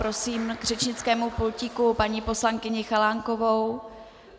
Prosím k řečnickému pultíku paní poslankyni Chalánkovou.